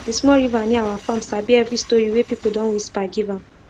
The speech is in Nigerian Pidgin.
the small river near our farm sabi every story wey people don whisper give am